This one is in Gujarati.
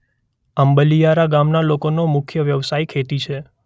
આંબલિયારા ગામના લોકોનો મુખ્ય વ્યવસાય ખેતી છે.